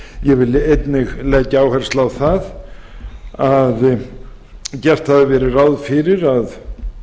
ég vil einnig leggja áherslu á það að gert hafði verið ráð fyrir að